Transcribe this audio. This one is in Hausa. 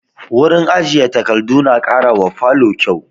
Wurin ajiye takardu na ƙara wa falo kyau